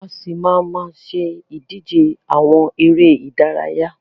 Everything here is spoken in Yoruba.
A ṣì máa má ṣe ìdíje àwọn eré ìdárayá.